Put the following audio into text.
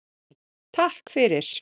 Takk fyrir!